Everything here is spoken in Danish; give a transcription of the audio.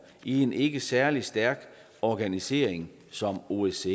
i en ikke særlig stærk organisering som osce